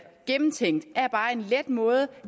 gennemtænkt er det bare en let måde